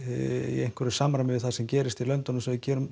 í samræmi við það sem gerist í löndunum sem við